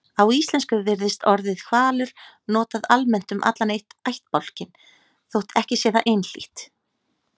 Á íslensku virðist orðið hvalur notað almennt um allan ættbálkinn þótt ekki sé það einhlítt.